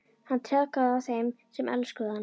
Hann traðkaði á þeim sem elskuðu hann.